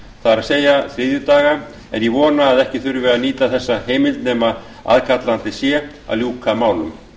það er þriðjudaga en ég vona að ekki þurfi að nýta þessa heimild nema aðkallandi sé að ljúka málum